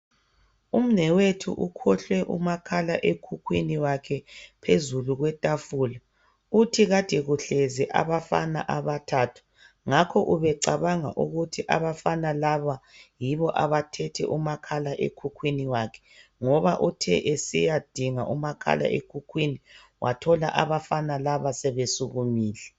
umnewethu ukhohlwe umakhala ekhukhwini wakhe phezulu kwetafula uthi ade kuhlezi abafana abathathu ngakho ubecanga ukuthi abafana laba yibo abathethe umakhala ekhukhwini wakhe ngoba uthe esiyadinga umakhala ekhukwini wathola abafana laba sebesukumile